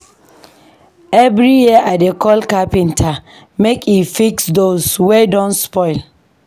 Every year, I dey call carpenter make e fix doors wey don spoil.